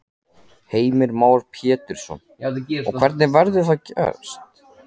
Heimir Már Pétursson: Og hvernig verður það gerst?